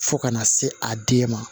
Fo ka na se a den ma